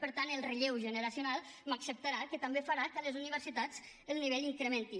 per tant el relleu generacional m’acceptarà que també farà que a les universitats el nivell s’incrementi